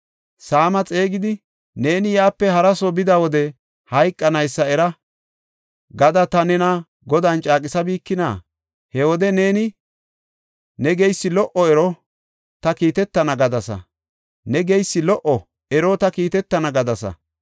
Saama xeegidi, “Neeni Yerusalaamepe hara soo bida wode hayqanaysa era” gada ta nena Godan caaqisabikina? He wode neeni, “Ne geysi lo77o; ero, ta kiitetana” gadasa.